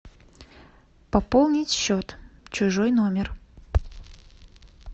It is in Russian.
пополнить счет чужой номер